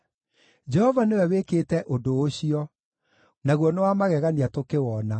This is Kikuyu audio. Jehova nĩwe wĩkĩte ũndũ ũcio, naguo nĩ wa magegania tũkĩwona.